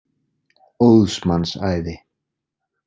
Óðs manns æði.